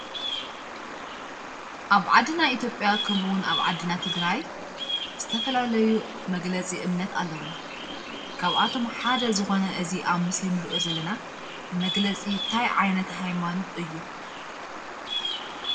አብ ዓድና ኢትጲያ ከምኡ እውን አብ ዓድና ትግራይ ዝተፈላለዩ መግለፂ እምነት አለውና፡፡ ካብአቶም ሓደ ዝኾነ እዚ አብ ምሰሊ እንሪኦ ዘለና መግለፂ እንታይ ዓይነት ሃይማኖት እዩ?